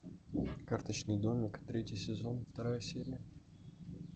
карточный домик третий сезон вторая серия